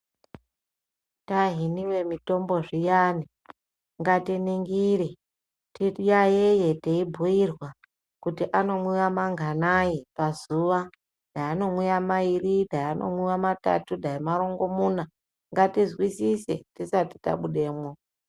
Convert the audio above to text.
Tahiniwa mutombo zviyani ngatiningire tiyaiye teibhuirwa kuti anomwiwa manganai pazuwa dai anomwiwa mairi ,dai matatu, dai narongomuna ngatizwisise tisati tabudamo.